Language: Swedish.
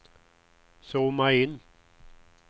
zooma in